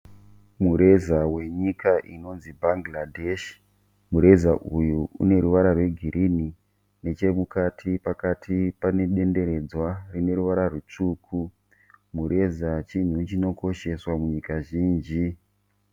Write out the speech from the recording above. Mureza wenyika inonzi Bangladesh. Mureza uyu une ruvara rwegirini, nechemukati pakati pane denderedzwa rine ruvara rutsvuku. Mureza chinhu chinokosheshwa munyika zhinji.